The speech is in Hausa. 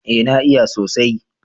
eh na iya sosaj